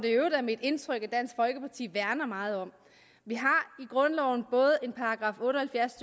i øvrigt er mit indtryk at dansk folkeparti værner meget om vi har i grundloven både § otte og halvfjerds